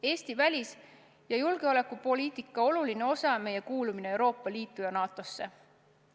Eesti välis- ja julgeolekupoliitika oluline osa on meie kuulumine Euroopa Liitu ja NATO-sse.